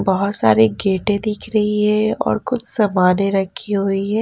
बहुत सारे गेटें दिख रही हैं और कुछ सामानें रखी हुई हैं।